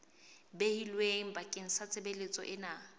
behilweng bakeng sa tshebeletso ena